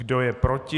Kdo je proti?